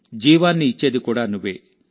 జీవాన్ని ఇచ్చేది కూడా నువ్వే